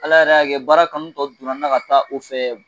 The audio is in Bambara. Ala yɛrɛ y'a kɛ baara kanu tɔ donna n na ka taa o fɛ